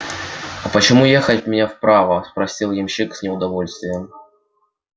а почему ехать мне вправо спросил ямщик с неудовольствием